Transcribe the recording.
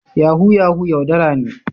Yahoo yahoo yaudara ne.